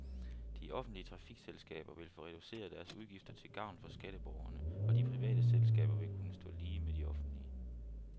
De offentlige trafikselskaber vil få reduceret deres udgifter til gavn for skatteborgerne, og de private selskaber vil kunne stå lige med de offentlige.